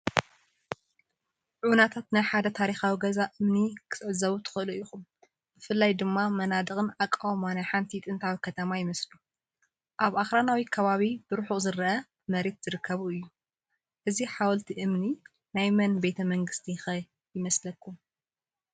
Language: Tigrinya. ዑናታት ናይ ሓደ ታሪኻዊ ገዛ እምኒ ክትዕዘቡ ትኽእሉ ኢኹም። ብፍላይ ድማ መናድቕን ኣቃውማን ናይ ሓንቲ ጥንታዊት ከተማ ይመስሉ። ኣብ ኣኽራናዊ ከባቢን ብርሑቕ ዝርአ መሬትን ዝርከብ እዩ። እዚ ሓወልቲ እምኒ ናይ መን ቤተ መንግስቲ ኸ ይመስለኩም?